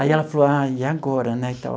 Aí ela falou, ah, e agora, né?